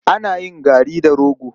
Ana yin gari da rogo.